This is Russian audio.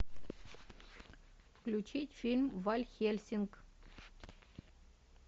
включить фильм ван хельсинг